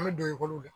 An bɛ don i bolo